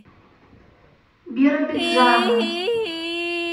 биробиджану